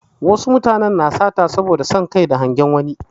Wasu suna sata ne saboda son Kai da hangen wani